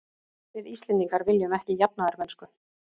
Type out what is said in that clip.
Við Íslendingar viljum ekki jafnaðarmennsku.